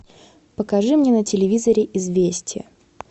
покажи мне на телевизоре известия